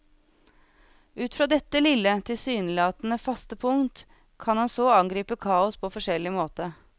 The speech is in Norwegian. Ut fra dette lille, tilsynelatende faste punkt kan han så angripe kaos på forskjellig måte.